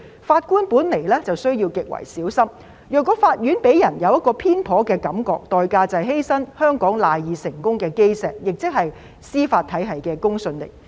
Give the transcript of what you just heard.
法官本來便需要極為小心，如果法院令人有偏頗的感覺，代價便是犧牲香港賴以成功的基石，亦即司法體系的公信力。